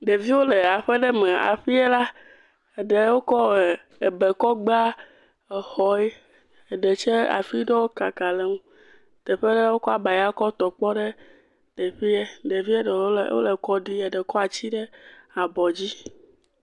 Ɖeviwo le aƒe ɖe me. Aƒee la, eɖe wokɔ ebe kɔ gba exɔe, eɖe tsɛ, afi ɖewo kaka le ŋu, teƒe ɖe wokɔ abaya kɔ tɔ kpɔ ɖe teƒee. Ɖevie ɖewo le kɔ ɖim, eɖe kɔ ati ɖe abɔ dzi.